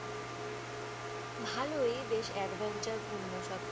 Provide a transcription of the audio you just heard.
ভালোই বেশ adventure পূর্ণ সবকিছু।